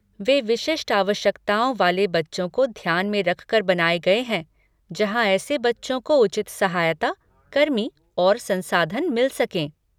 वे विशिष्ट आवश्यकताओं वाले बच्चों को ध्यान में रखकर बनाए गए हैं जहाँ ऐसे बच्चों को उचित सहायता, कर्मी और संसाधन मिल सकें।